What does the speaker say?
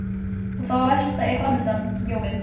Og það versta er framundan: jólin.